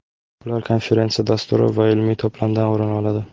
Ular konferensiya dasturi va ilmiy to‘plamdan o‘rin oladi.